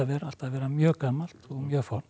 allt að vera mjög gamalt og mjög fornt